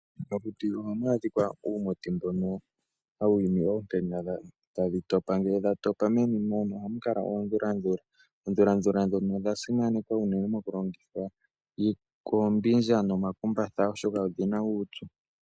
Momakuti ohamu adhika uumuti mbono hawu imi oonkenya tadhi topa , ngele dhatopa meni mono ohamu adhika oondhulandhula, oondhulandhula ndhono odha simanekwa unene mokulongithwa oombindja nomakumbatha oshoka odhina uupyu.